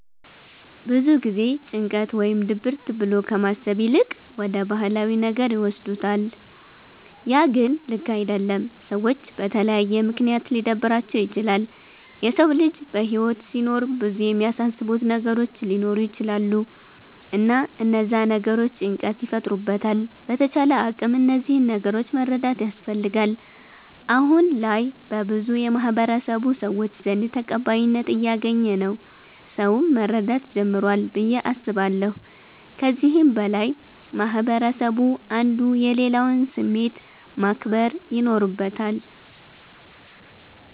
ብዙ ጊዜ ጭንቀት ወይም ድብርት ብሎ ከማሰብ ይልቅ ወደ ባህላዊ ነገር ይወስዱታለ ያ ግን ልክ አደለም። ሰዎች በተለያየ ምክንያት ሊደብራቸዉ ይችላል። የሰዉ ልጅ በህይወት ሲኖር ብዙ የሚያሳስቡት ነገሮች ሊኖሩ ይቸላሉ እና እነዛ ነገሮች ጭንቀት ይፈጥሩበታል በተቻለ አቅም እነዚህን ነገሮች መረዳት ያስፈልጋል። አሁነ ላይ በብዙ የማህበረሰቡ ሰዎች ዘንድ ተቀባይነት እያገኝ ነዉ ሰዉም መረዳት ጀምሯል ብዬ አስባለሁ። ከዚህም በላይ ማህበረስቡ አንዱ የሌላዉን ስሜት ማክበር ይኖርበታል።